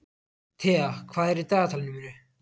Thea, hvað er í dagatalinu í dag?